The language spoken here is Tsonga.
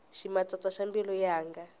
ximatsatsa xa mbilu yanga